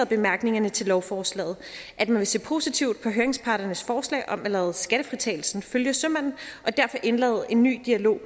bemærkningerne til lovforslaget at man vil se positivt på høringsparternes forslag om at lade skattefritagelsen følge sømanden og derfor indlede en ny dialog